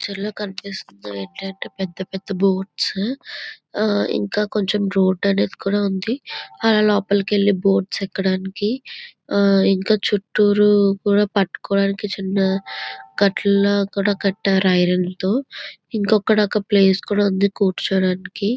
ఈ పిక్చర్లో కనిపిస్తుంది ఏంటి అంటే పెద్ద పెద్ద బోట్స్ ఆ ఇంకా కొంచెం రోడ్డు అనేది కూడా ఉంది అలా లోపలికి వెళ్లి బోట్స్ ఎక్కడానికి ఆ ఇంకా చుటూరు కూడా పట్టుకోవడానికి చిన్న గట్లు లాగా కూడా కట్టారు ఐరన్ తో ఇంకా అక్కడ ప్లేస్ కూడా ఉంది కూర్చోడానికి